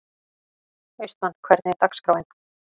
Austmann, hvernig er dagskráin?